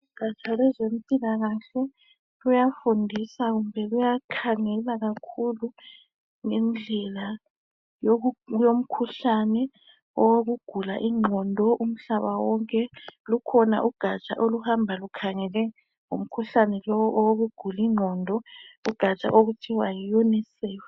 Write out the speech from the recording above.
Ugaja lwezempilakahle, luyafundisa, kumbe luyakhangela kakhulu ngendlela yoku...yomkhuhlane wokugula ingqondo, umhlaba wonke. Lukhona ugaja oluhamba lukhangele ngomkhuhlane lo, wokugula ingqondo. Ugaja lolu kuthiwa yiUNICEF.